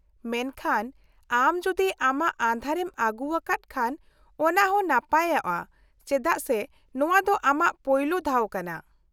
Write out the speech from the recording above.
-ᱢᱮᱱᱠᱷᱟᱱ ᱟᱢ ᱡᱩᱫᱤ ᱟᱢᱟᱜ ᱟᱸᱫᱷᱟᱨᱮᱢ ᱟᱹᱜᱩᱣᱟᱠᱟᱫ ᱠᱷᱟᱱ ᱚᱱᱟ ᱦᱚᱸ ᱱᱟᱯᱟᱭᱚᱜᱼᱟ ᱪᱮᱫᱟᱜ ᱥᱮ ᱱᱚᱶᱟ ᱫᱚ ᱟᱢᱟᱜ ᱯᱳᱭᱞᱳ ᱫᱷᱟᱣ ᱠᱟᱱᱟ ᱾